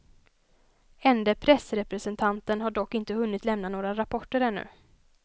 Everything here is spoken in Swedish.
Ende pressrepresentanten har dock inte hunnit lämna några rapporter ännu.